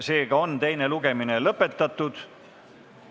Seega on teine lugemine lõpetatud.